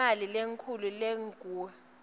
imali lenkhulu lengur